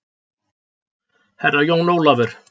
Herra Jón Ólafur?